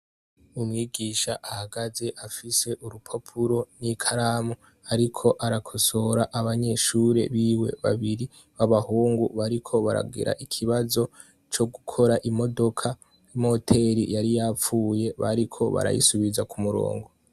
Umwigisha ahagaze afise urupapuro n'ikaramu, ariko arakosora abanyeshure biwe babiri b'abahungu bariko baragira ikibazo co gukora imodoka, imoteri yari yapfuye bariko barayisubiza ku murongo.